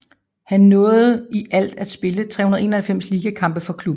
Han nåede i alt at spille 391 ligakampe for klubben